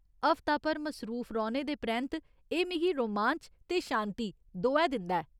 हफ्ता भर मसरूफ रौह्‌ने दे परैंत्त एह् मिगी रोमांच ते शांति, दोऐ दिंदा ऐ।